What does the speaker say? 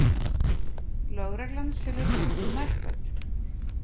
Lögreglan selur notuð nærföt